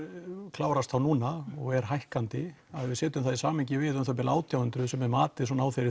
klárast þá núna og er hækkandi að við setjum það í samhengi við átján hundruð sem er